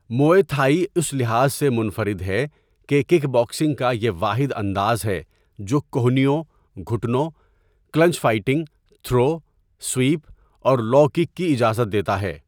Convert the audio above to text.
موئے Thai اس لحاظ سے منفرد ہے کہ کک باکسنگ کا یہ واحد انداز ہے جو کہنیوں، گھٹنوں، کلنچ فائٹنگ، تھرو، سویپ اور لو کک کی اجازت دیتا ہے۔